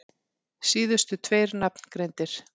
Síðustu tveir nafngreindir